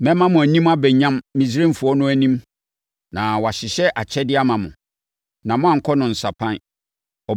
“Mɛma mo anim aba nyam Misraimfoɔ no anim na wɔahyehyɛ akyɛdeɛ ama mo, na moankɔ no nsapan.